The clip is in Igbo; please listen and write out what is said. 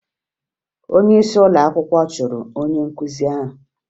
Onyeisi ụlọakwụkwọ chụrụ onye nkụzi ahụ